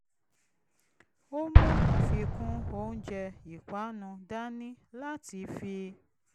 ó mú àfikún oúnjẹ ìpánu dání láti fi